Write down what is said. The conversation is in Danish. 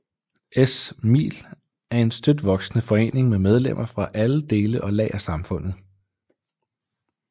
SMil er en støt voksende forening med medlemmer fra alle dele og lag af samfundet